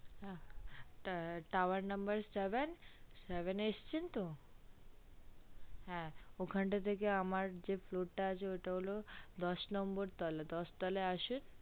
হ্যা tower number seven seven এ আসছেন তো হ্যা ওখান টা থেকে আমার যে floor টা আছে ওটা হলো দশ number তালা দশ তলায় আসুন